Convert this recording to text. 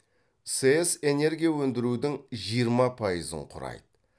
сэс энергия өндірудің жиырма пайызын құрайды